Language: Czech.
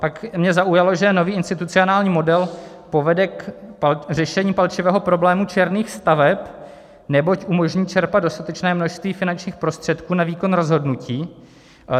Pak mě zaujalo, že nový institucionální model povede k řešení palčivého problému černých staveb, neboť umožní čerpat dostatečné množství finančních prostředků na výkon rozhodnutí.